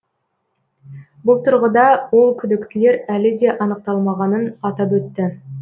бұл тұрғыда ол күдіктілер әлі де анықталмағанын атап өтті